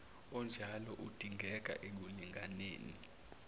onjalo udingeka ekulinganeni